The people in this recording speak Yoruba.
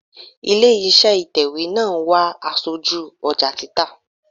Ilé iṣẹ́ ìtẹ̀wẹ́ náà ń wá aṣojú ọjà títà.